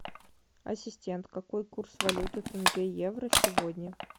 ассистент какой курс валюты тенге евро сегодня